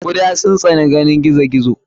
guda sun tsani ganin gizo gizo.